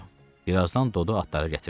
Bir azdan Dodu atları gətirdi.